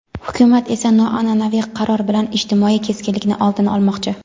Hukumat esa noanʼanaviy qaror bilan ijtimoiy keskinlikni oldini olmoqchi.